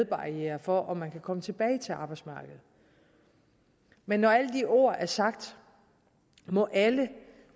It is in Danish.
barriere for at man kan komme tilbage til arbejdsmarkedet men når alle de ord er sagt må alle